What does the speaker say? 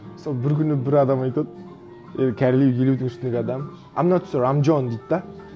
сол бір күні бір адам айтады кәрілеу елудің ішіндегі адам айм нот сёр айм джон дейді де